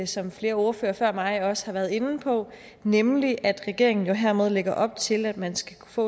som flere ordførere før mig også har været inde på nemlig at regeringen jo hermed lægger op til at man skal kunne få